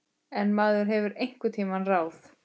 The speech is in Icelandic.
En maður hefur einhver ráð.